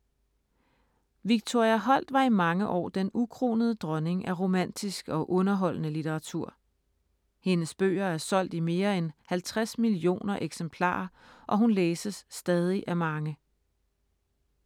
Victoria Holt var i mange år den ukronede dronning af romantisk og underholdende litteratur. Hendes bøger er solgt i mere end 50 millioner eksemplarer og hun læses stadig af mange.